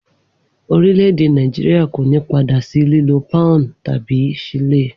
Orílẹ̀-èdè Nàìjíríà kò ní padà sí lílo pọ́ùn tàbí ṣílè